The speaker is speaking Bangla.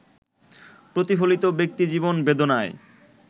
প্রতিফলিত ব্যক্তিজীবন বেদনায়